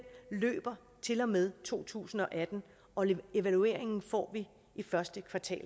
løber til og med to tusind og atten og evalueringen får vi i første kvartal